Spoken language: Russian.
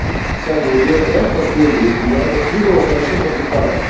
кстати вот этот трек последний я адаптировал хорошо под гитару